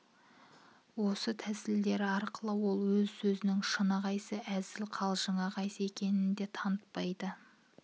осы тәсілдері арқылы ол өз сөзінің шыны қайсы өзілі қал-жыңы қайсы екенін де танытпайды